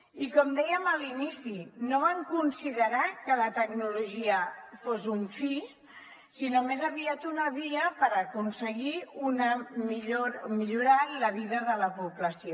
i com dèiem a l’inici no van considerar que la tecnologia fos un fi sinó més aviat una via per aconseguir millorar la vida de la població